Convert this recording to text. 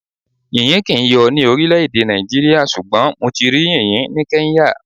Yìnyín kì ń yóò ní orílẹ̀ Nàìjíríà, ṣùgbọ́n mo ti rí yìnyín ni Kenya.